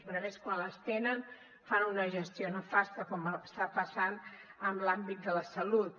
perquè a més quan les tenen fan una gestió nefasta com està passant en l’àmbit de la salut